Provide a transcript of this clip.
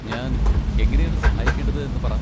ഞാൻ എങ്ങനെയാണ് സഹായിക്കേണ്ടത് എന്ന് പറ.